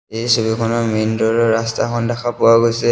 এই ছবিখনত main door ৰ ৰাস্তাখন দেখা পোৱা গৈছে।